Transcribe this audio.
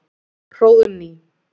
Hróðný